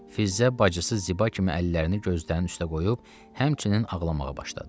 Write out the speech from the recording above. Fizzə bacısı Ziba kimi əllərini gözlərinin üstə qoyub, həmçinin ağlamağa başladı.